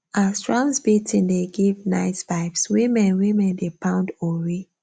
as drums beating dey give nice vibes women women dey pound ori